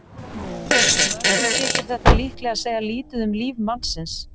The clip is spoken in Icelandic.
Mörgum þykir þetta líklega segja lítið um líf mannsins.